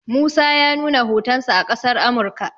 musa ya nuna hotonsa a ƙasar Amurka